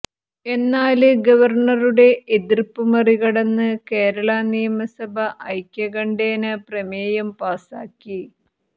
എന്നാല് ഗവര്ണറുടെ എതിര്പ്പ് മറികടന്ന് കേരള നിയമസഭ ഐക്യകണ്ഠേന പ്രമേയം പാസാക്കി